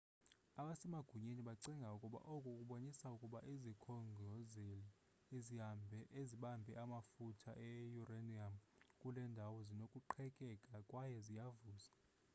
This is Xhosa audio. abasemagunyeni bacinga ukuba oku kubonisa ukuba izikhongozeli ezibambe amafutha e-uranium kule ndawo zinokuqhekeka kwaye ziyavuza